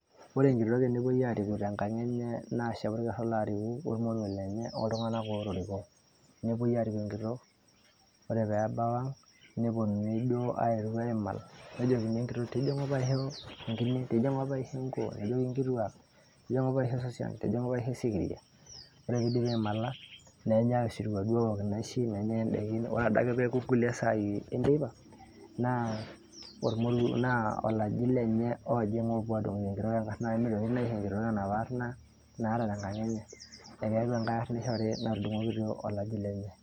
Ore enkitok tenepoi ariku tenkang' enye, naa shapu orker olaariku ormoruo lenye, oltung'anak pookin otoriko. Nepoi ariku enkitok, ore pebau ang',neponunui duo airuk aimal, nejokini enkitok; tijing'u paisho enkine, tijing'u paisho enkuo. Nejoki nkituak; tijing'u paisho esosian, tijing'u paisho esikiria. Ore pidipi aimala, nenyai osirua duo aok inaishi, nenyai idaikin. Ore adake peeku kulie saai enteipa, naa ormoruo, naa olaji lenye oojing' opuo adung'oki enkitok enkarna, mitokini naa aisho enkitok enaparna naata tenkang' enye. Ekeeku enkae arna ishori natudung'okitio olaji lenye.